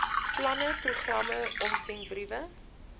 planne programme omsendbriewe